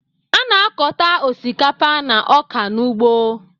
A na-akọta osikapa na ọka n'ugbo